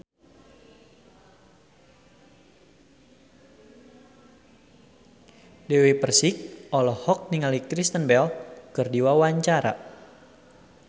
Dewi Persik olohok ningali Kristen Bell keur diwawancara